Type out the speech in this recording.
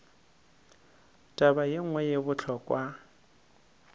taba ye nngwe ye bohlokwa